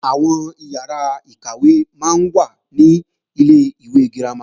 Àwọn ìyàrá-ìkàwé máa ń wà ní Ilé-ìwé girama